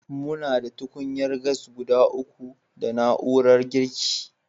Muna da tukunyar gas guda uku da na'urar girki.